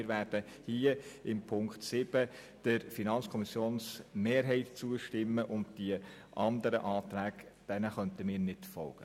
Wir werden im Themenblock 7 der FiKo-Mehrheit zustimmen, und den anderen Anträgen können wir nicht folgen.